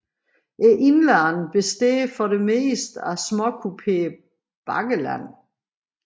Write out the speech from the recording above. Indlandet består for det meste af småkuperet bakkeland